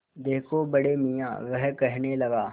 देखो बड़े मियाँ वह कहने लगा